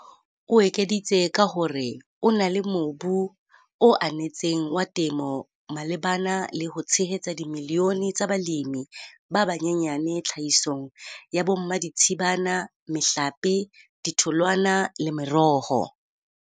O ekeditse ka ho re ho na le mobu o anetseng wa temo malebana le ho tshehetsa dimilione tsa balemi ba banyenyane tlhahisong ya bommaditshibana, mehlape, ditholwana le meroho.